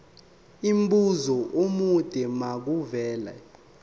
umbuzo omude makuvele